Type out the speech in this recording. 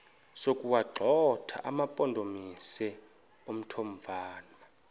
sokuwagxotha amampondomise omthonvama